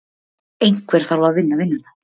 Einhver þarf að vinna vinnuna.